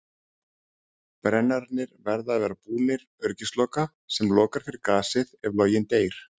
Brennararnir verða að vera búnir öryggisloka sem lokar fyrir gasið ef loginn deyr.